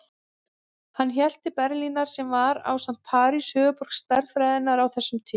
Hann hélt til Berlínar sem var, ásamt París, höfuðborg stærðfræðinnar á þessum tíma.